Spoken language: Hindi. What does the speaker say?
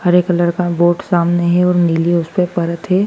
हरे कलर का बोर्ड सामने है और नीली उसप परत है।